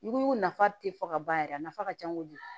Ɲugu nafa te fɔ ka ban yɛrɛ a nafa ka ca kojugu